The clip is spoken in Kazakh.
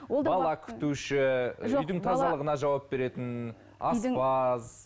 үйдің тазалығына жауап беретін аспаз